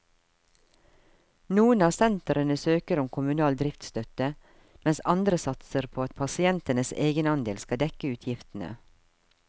Noen av sentrene søker om kommunal driftsstøtte, mens andre satser på at pasientenes egenandel skal dekke utgiftene.